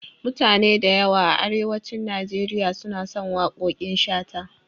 Mutane da yawa a Arewacin Nigeria suna son waƙoƙin Shata.